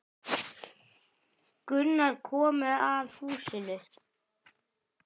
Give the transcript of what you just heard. Gunnar komu að húsinu.